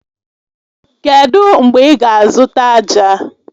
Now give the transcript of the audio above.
Kedụ mgbe ị ga-azụta ájá?